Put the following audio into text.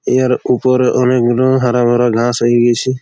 ইহার উপরে অনেক গুলো হারা ভারা ঘাস হই গিছে।